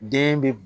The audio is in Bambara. Den bɛ